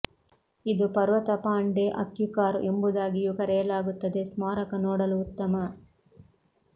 ಇದು ಪರ್ವತ ಪಾನ್ ಡೆ ಅಕ್ಯುಕಾರ್ ಎಂಬುದಾಗಿಯೂ ಕರೆಯಲಾಗುತ್ತದೆ ಸ್ಮಾರಕ ನೋಡಲು ಉತ್ತಮ